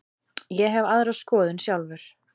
Ég hef aðra skoðun sjálfur.